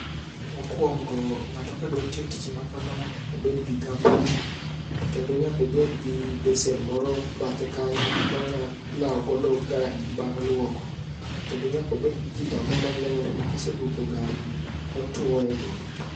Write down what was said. Mokwongo, ng'ato ka dwa tiyo tich ma kamae nyakoned gi gumboot. To kendo nyakobed gi besen moro bathe kanyo monya lawo godo gari bang' lwoko. Kendo nyakobed gi kitamba maler ma koselwoko gari ni, otwoe go.